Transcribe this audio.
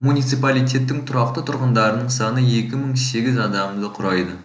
муниципалитеттің тұрақты тұрғындарының саны екі мың сегіз адамды құрайды